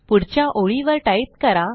पुढच्या ओळीवर टाईप करा